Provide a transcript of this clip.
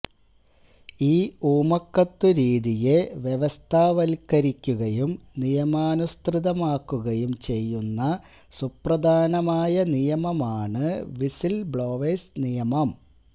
ഈ ഊമക്കത്തു രീതിയെ വ്യവസ്ഥാവത്ക്കരിക്കുകയും നിയമാനുസൃതമാക്കുകയും ചെയ്യുന്ന സുപ്രധാനമായ നിയമമാണ് വിസില്ബ്ലോവേഴ്സ് നിയമം